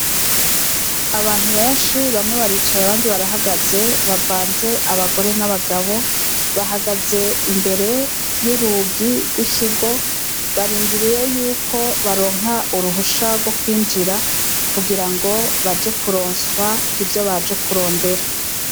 Abantu benshi bamwe baricaye abandi barahagaze bavanze abagore abandi ni abagabo bahagaze imbere y' urugi gw' ikigo barindiriye yuko baronka uruhusha gwo kwinjira kugira ngo baje kuronswa ivyo baje kurondera.